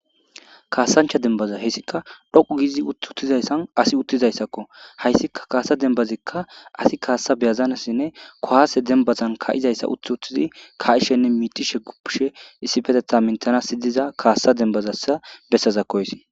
kaasancha dembaza heyssika dhoqu giizi ut uttizayssan asi uttizayssakko hayssika kaasa dembazikka asi kaassa beyazanassinne kohaase dembazan ka7izayssa uth uttizi ka7ishenne miitishe guppishe issipetetha minthana sidiza kaassa dembazassa bessaza haysi